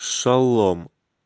шалом